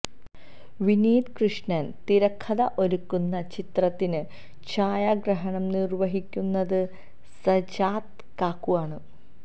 വിനീത് കൃഷ്ണന് തിരക്കഥ ഒരുക്കുന്ന ചിത്രത്തിന് ഛായാഗ്രഹണം നിര്വ്വഹിക്കുന്നത് സജാദ് കാക്കു ആണ്